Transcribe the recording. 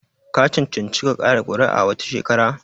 Ka cancanci ka kaɗa kuri'a wata shekara?